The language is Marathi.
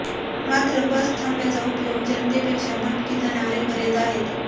मात्र बस थांब्याचा उपयोग जनतेपेक्षा भटकी जनावरे करीत आहेत